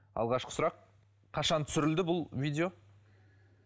алғашқы сұрақ қашан түсірілді бұл видео